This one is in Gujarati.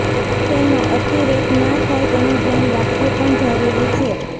તેનો અતિરેક ના થાય તેનું ધ્યાન રાખવું પણ જરૂરી છે